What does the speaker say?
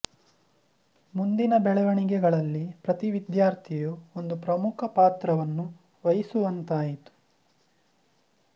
ಮುಂದಿನ ಬೆಳವಣಿಗೆಗಳಲ್ಲಿ ಪ್ರತಿ ವಿದ್ಯಾರ್ಥಿಯೂ ಒಂದು ಪ್ರಮುಖ ಪಾತ್ರವನ್ನು ವಹಿಸುವಂತಾಯಿತು